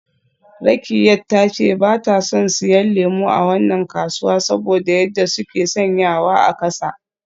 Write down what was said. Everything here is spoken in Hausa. Rakkiat ta ce ba ta son siyan lemu a wannan kasuwa saboda yadda suke sanyawa a kasa.